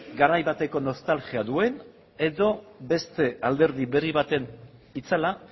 garai bateko nostalgia duen edo beste alderdi berri baten itzala